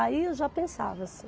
Aí eu já pensava assim.